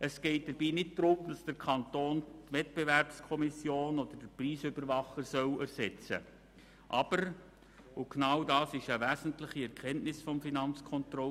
Dabei geht nicht darum, dass der Kanton die Wettbewerbskommission oder den Preisüberwacher ersetzen soll.